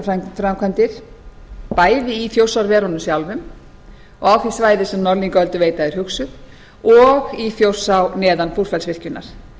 og virkjanaframkvæmdir bæði í þjórsárverunum sjálfum og á því svæði sem norðlingaölduveita er hugsuð og í þjórsá neðan búrfellsvirkjunar